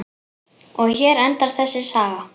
Og hér endar þessi saga.